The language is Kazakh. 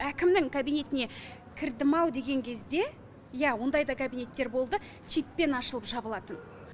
әкімнің кабинетіне кірдім ау деген кезде иә ондай да кабинеттер болды чиппен ашылып жабылатын